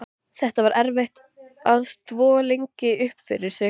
Aríaðna, hvað er á dagatalinu í dag?